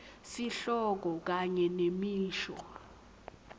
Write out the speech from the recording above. sihloko kanye nemisho